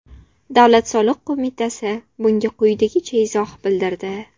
Davlat soliq qo‘mitasi bunga quyidagicha izoh bildirdi.